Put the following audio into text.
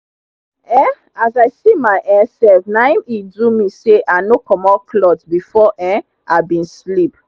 um as i see my um sef naim e do me say i nor comot cloth before um i bin sleep